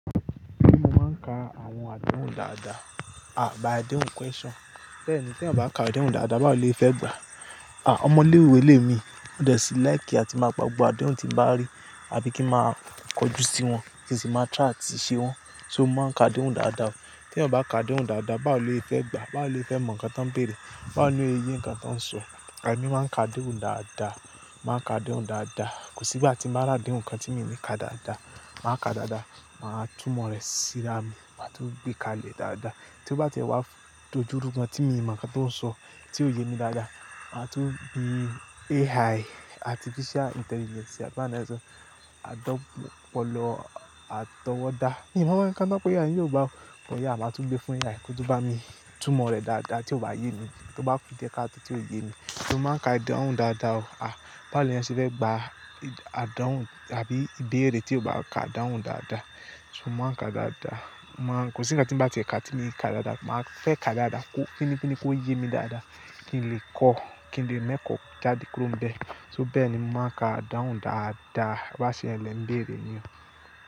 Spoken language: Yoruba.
Béèni mo máa ń ka àwọn àdánwò dáadáa, à adehùn question. Bẹ́ẹ̀ ni bí ẹ̀eyan ò bá ka adehùn dáadáa, báwo lo ye fẹ́ gba? À, ọmọ léwé lé mi, wọ́n dẹ̀ sí láì kí a ti máa gbàgbọ́ àdánwò tí ń bá rí àbí kí máa kọjú sí wọn, kí n sì máa try ati ṣe wọ́n. So mo máa ń ka adehùn dáadáa o. Tí ẹ̀eyan ò bá ka adehùn dáadáa, báwo lo ye fẹ́ gba? Báwo lo ye fẹ́ mọ nǹkan tọ́ ń bèèrè? Báwo ló ye yẹ nǹkan tọ́ ń sọ? Ẹ̀mí máa ń ka adehùn dáadáa, máa ka adehùn dáadáa. Kò sí igbà ti n bá rá adehun kan tí mi ò ní ka dáadáa. Màá ka dáadáa, màá tumọ̀ rẹ̀ síra mi, màá tún gbé kalẹ̀ dáadáa. Tí ó bá tiẹ̀ wá f- dojúrú gan tí mi mọ nǹkan tó ń sọ, tí ò ye mi dáadáa, màá tún bi AI, artificial intelligence àgbà náà sọ, àdọ́ pọ̀ lọ, àtọwọ́dá. Níbo won ń ko tán pe AI o ni Yorùbá o, ohun a lá tun gbé fún AI kó tun bá mi tumọ̀ rẹ̀ dáadáa tí ó bá yé mi, tó bá kù díẹ̀ káàto tí ò ye mi. Mo máa ń ka adehùn dáadáa o. À, báwo lẹ eeyan ṣe fẹ́ gba adanwo àbí ìbéèrè tí ò bá ka adanwo dáadáa? So mo máa ń ka dáadáa. Mo máa ń-- kò sí nnkan tí n bá tiẹ́ ká tí mi n ka dáadáa. Màá fẹ́ ká dáadáa kó pínípíní kó ye mí dáadáa kí n lè kọ́, kí n lè me kọ́ jáde kúrò nbẹ̀. So bẹ́ẹ̀ ni mo máa ń ka adahùn dáadáa bá ṣe ń lẹ́ ń bèèrè mi o.